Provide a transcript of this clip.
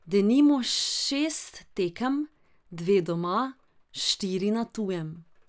Denimo šest tekem, dve doma, štiri na tujem.